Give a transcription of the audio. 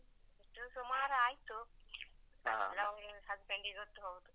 ಅದು ಸುಮಾರ್ ಆಯ್ತು. loan ಸ್ವಲ್ಪ ಎನ್ ಇರತ್ತೊ